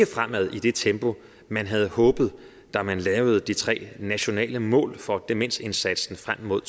fremad i det tempo man havde håbet da man lavede de tre nationale mål for demensindsatsen frem mod